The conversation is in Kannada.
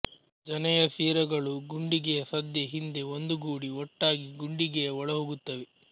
ಜನೆಯ ಸಿರಗಳೂ ಗುಂಡಿಗೆಯ ಸದ್ಯ ಹಿಂದೆ ಒಂದುಗೂಡಿ ಒಟ್ಟಾಗಿ ಗುಂಡಿಗೆಯ ಒಳಹೋಗುತ್ತವೆ